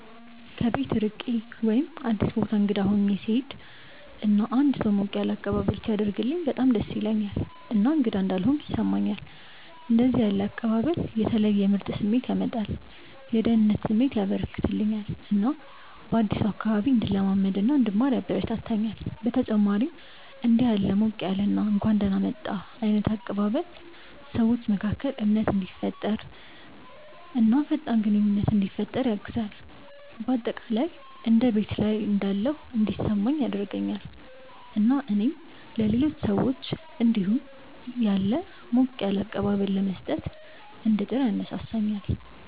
ከቤት ርቄ ወይም አዲስ ቦታ እንግዳ ሆኜ ስሄድ እና አንድ ሰው ሞቅ ያለ አቀባበል ሲያደርግልኝ በጣም ደስ ይለኛል እና እንግዳ እንዳልሆንኩ ያስሰማኛል። እንደዚህ ያለ አቀባበል የተለየ ምርጥ ስሜት ያመጣል፤ የደህንነት ስሜት ያበረከተልኛል እና በአዲሱ አካባቢ እንድለማመድ እና እንድማር ያበረታታኛል። በተጨማሪም እንዲህ ያለ ሞቅ ያለ እና እንኳን ደህና መጣህ ዓይነት አቀባበል ሰዎች መካከል እምነትን እንዲፈጠር እና ፈጣን ግንኙነት እንዲፈጠር ያግዛል። በአጠቃላይ እንደ ቤት ላይ እንዳለሁ እንዲሰማኝ ያደርገኛል እና እኔም ለሌሎች ሰዎች እንዲሁ ያለ ሞቅ ያለ አቀባበል ለመስጠት እንድጥር ያነሳሳኛል።